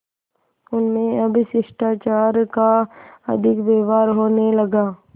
उनमें अब शिष्टाचार का अधिक व्यवहार होने लगा